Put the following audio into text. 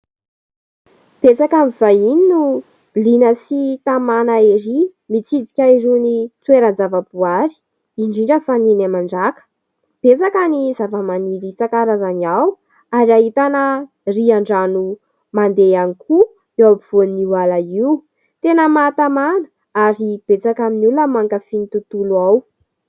Betsaka amin'ny vahiny no liana sy tamana erỳ mitsidika irony toeran-javaboary, indrindra fa ny eny Mandràka. Betsaka ny zavamaniry isan-karazany ao ary ahitana rihan-drano mandeha ihany koa eo ampovoan'io ala io. Tena mahatamana ary betsaka amin'ny olona no mankafy ny tontolo ao.